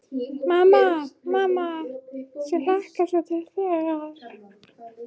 Mamma, mamma mér hlakkar svo til þegar.